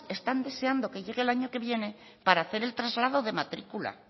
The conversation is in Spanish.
están deseando que llegue el año que viene para hacer el traslado de matrícula